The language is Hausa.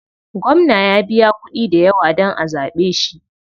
Gwamna ya biya kuɗi dayawa dan a zaɓe shi.